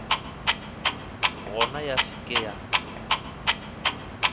gona ya se ke ya